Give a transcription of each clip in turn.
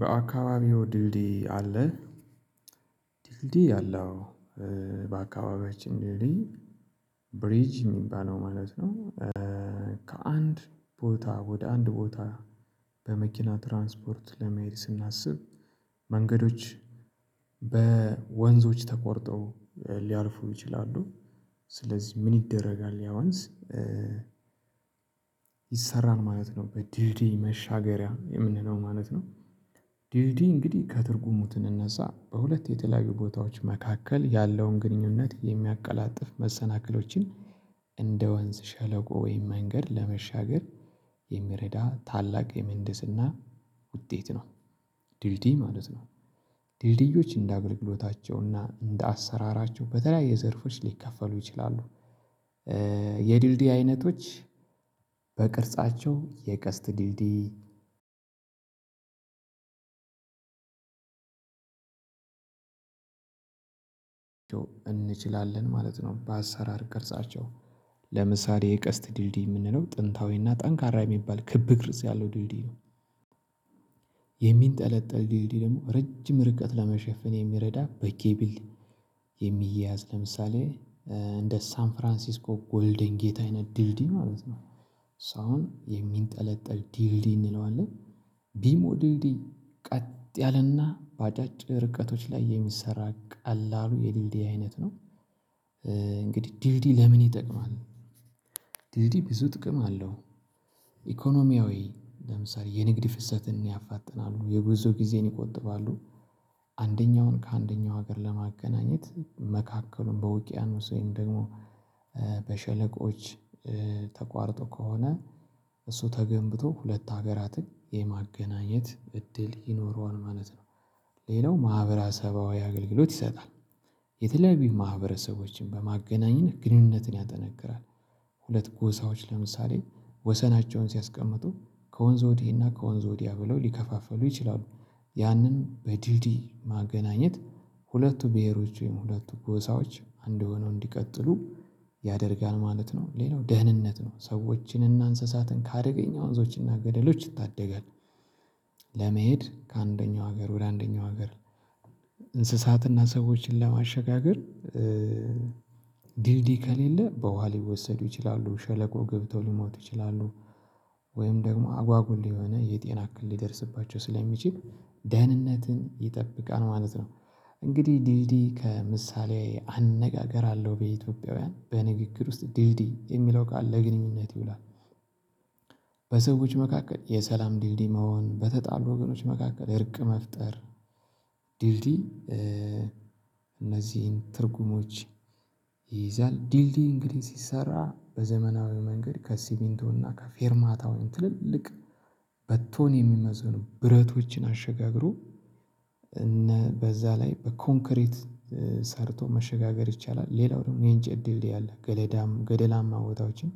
በአካባቢው ድልድይ አለ ድልድይ አለው በአካባቢው እንዴት ብሪጅ የሚባለው ማለት ነው። ከአንድ ቦታ ወደ አንድ ቦታ በመኪና ትራንስፖርት ለመሄድ ስናስብ። መንገዶች በወንዞች ተቆርጠው ሊያልፉም ይችላሉ። ስለዚህ ምን ይደረጋል ያ ወንዝ? ይሰራል ማለት ነው በዲዲ መሻገሪያ የምንለው ማለት ነው። ዲዲ እንግዲህ ከትርጉሙት እነዛ በሁለት የተለያዩ ቦታዎች መካከል ያለውን ግንኙነት የሚያቀላጥፍ መሰናክሎችን እንደ ወንዝ ሸለቆ ወይም መንገድ ለመሻገር የሚረዳ ታላቅ የመንደስና ውጤት ነው። ድልድይ ማለት ነው። ድልድዮች እንደ አግልቅሎታቸውና እና እንደ አሰራራቸው በተለያየ ዘርፎች ሊከፈሉ ይችላሉ። የድልድይ አይነቶች በቅርጻቸው የቀስት ድልድይ እንችላለን ማለት ነው በአሰራር ቅርጻቸው ለምሳሌ የቀስት ድልድይ የምንለው ጥንታዊና ጠንካራ የሚባል ክብ ቅርጽ ያለው ድልድይ ነው። የሚንጠለጠል ድልድይ ደግሞ ረጅም ርቀት ለመሸፈን የሚረዳ በቂ በጌቢልድ የሚያዝ ለምሳሌ እንደ ሳን ፍራንሲስኮ ጎልደን ጌታዬን ድልድይ ማለት ነው። ሳውን የሚንጠለጠል ድልድይ እንለዋለን። ቢሞ ድልድይ ቀጥ ያለና በአጫጭር ርቀቶች ላይ የሚሰራ ቃል አሉ የሊልዲ አይነት ነው። ድልድይ ለምን ይጠቅማል? ድልድይ ብዙ ጥቅም አለው። ኢኮኖሚያዊ ለምሳሌ የንግድ ፍሰትን ያፋጥናሉ የብዙ ጊዜን ይቆጥባሉ። አንደኛውን ከአንደኛው ሀገር ለማገናኘት መካከሉን በውቅያኖስ ወይም ደግሞ በሸለቆዎች ተቋርጦ ከሆነ እሱ ተገንብቶ ሁለት ሀገራትን የማገናኘት እድል ይኖረዋል ማለት ነው። ሌላው ማህበራዊ አገልግሎት ይሰጣል። የተለያዩ ማህበረሰቦችን በማገናኘት ግንኙነትን ያጠነክራል። ሁለት ጎሳዎች ለምሳሌ ወሰናቸውን ሲያስቀምጡ ከወንዝ ወዲህ እና ከወንዝ ወዲያ ብለው ሊከፋፈሉ ይችላሉ። ያንን በድልድይ ማገናኘት ሁለቱ ብሄሮች ወይም ሁለቱ ጎሳዎች አንድ ሆነው እንዲቀጥሉ ያደርጋል ማለት ነው። ሌላው ደህንነት ነው ሰዎችን እና እንስሳትን ከአደገኛ ወንዞችና ገደሎች ይታደጋል። ለመሄድ ከአንደኛው ሀገር ወደ አንደኛው ሀገር እንስሳትና ሰዎችን ለማሸጋገር ከሌለ በዋሊ ወሰዱ ይችላሉ ሸለቆ ገብተው ሊሞቱ ይችላሉ። ወይም ደግሞ አጓጉል የሆነ የጤና ክልል የደረሰባቸው ስለሚችል ደህንነትን ይጠብቃል ማለት ነው። እንግዲህ ዲልዲ ከምሳሌ አነጋገር አለው በኢትዮጵያውያን በንግግር ውስጥ ዲልዲ የሚለው ቃል ለግንኙነት ይውላል። በሰዎች መካከል የሰላም ዲልዲም መሆን በተጣሉ ወገኖች መካከል እርቅ መፍጠር። ዲልዲ እነዚህን ትርጉሞች ይይዛል። ዲልዲይ እንግዲህ ሲሰራ በዘመናዊ መንገድ ከሲቢንቶና ከፌርማታውን ትልልቅ በቶኒ የሚመዘኑ ብረቶችን አሸጋግሮ እነ በዛ ላይ በኮንክሬት ሰርቶ መሸጋገር ይቻላል። ሌላው ደግሞ የአንጨት ድልድይ አለ ገለዳም ገደላማ ቦታዎችን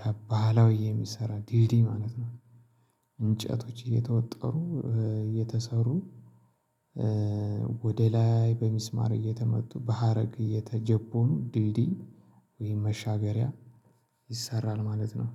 ከባህላዊ የሚሰራ ዲዲ ማለት ነው። እንጨቶች እየተወጠሩ እየተሰሩ ወደ ላይ በሚስማር እየተመጡ በሀረግ እየተጀቡኑ ድልድይ ወይም መሻገሪያ ይሰራል ማለት ነው።